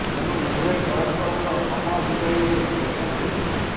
ଏଣୁ ଉଭୟେ ପରସ୍ପର ସହ ସମୟ ବିତାଇବାକୁ ପସନ୍ଦ କରୁ